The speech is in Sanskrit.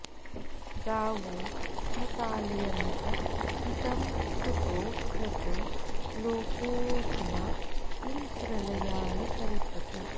गावो न काल्यन्त इदं कुतो रजो लोकोऽधुना किं प्रलयाय कल्पते